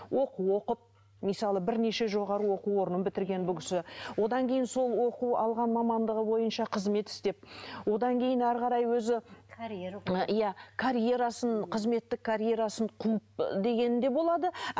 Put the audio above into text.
оқу оқып мысалы бірнеше жоғарғы оқу орнын бітірген бұл кісі одан кейін сол оқу алған мамандығы бойынша қызмет істеп одан кейін әрі қарай өзі иә карьерасын қызметтік карьерасын қуып дегені де болады